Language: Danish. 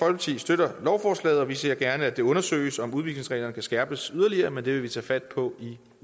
støtter lovforslaget og vi ser gerne at det undersøges om udvisningsreglerne kan skærpes yderligere men det vil vi tage fat på i